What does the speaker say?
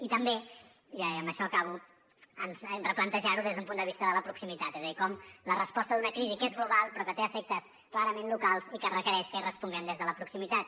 i també i amb això acabo ens hem de replantejar ho des d’un punt de vista de la proximitat és a dir com la resposta d’una crisi que és global però que té efectes clarament locals i que requereix que hi responguem des de la proximitat